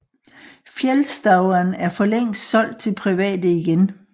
Fjällstauan er for længst solgt til private igen